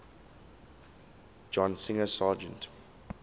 john singer sargent